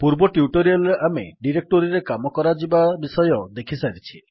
ପୂର୍ବ ଟ୍ୟୁଟୋରିଆଲ୍ ରେ ଆମେ ଡିରେକ୍ଟୋରୀରେ କାମ କରାଯିବା ବିଷୟରେ ଦେଖିସାରିଛେ